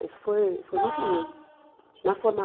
Isso foi foi muito ruim. Na